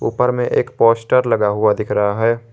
ऊपर में एक पोस्टर लगा हुआ दिख रहा है।